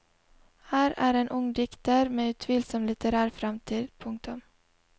Her er en ung dikter med utvilsom litterær fremtid. punktum